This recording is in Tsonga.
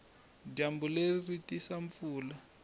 dyambu leri ri tisa mpfula